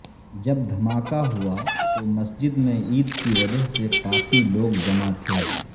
جب دھماکہ ہوا تو مسجد میں عید کی وجہ سے کافی لوگ جمع تھے